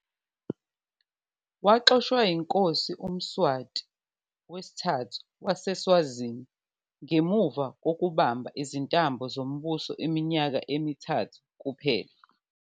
Waxoshwa yiNkosi uMswati III waseSwazini, ngemuva kokubamba izintambo zombuso iminyaka emithathu kuphela.